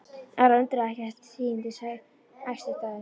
Ara undraði ekki að tíðindin æstu þá.